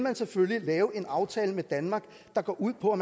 selvfølgelig lave en aftale med danmark der går ud på at